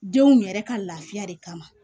Denw yɛrɛ ka lafiya de kama